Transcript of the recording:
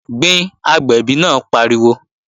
Gbin, agbẹ̀bí náà pariwo!